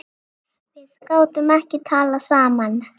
Við gátum ekki talað saman.